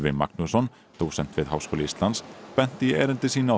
Magnússon dósent við Háskóla Íslands benti í erindi sínu á